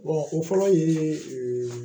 o fɔlɔ ye